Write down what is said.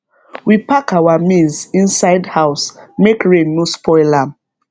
we pack our maize inside house make rain no spoil am